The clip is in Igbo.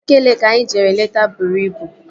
Nike Leeki anyị jere leta bụrụ ibu